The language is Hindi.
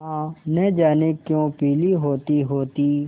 माँ न जाने क्यों पीली होतीहोती